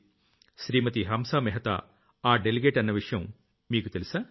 శ్రీమతి హంసా మెహతా ఆ డెలిగేట్ అన్న విషయం మీకు తెలుసా